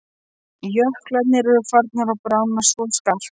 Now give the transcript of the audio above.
Jöklarnir eru farnir að bráðna svo skarpt.